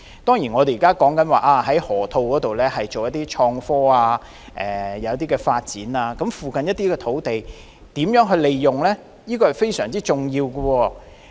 當然，政府已表示會在河套區發展創科產業，但如何利用附近土地是非常重要的。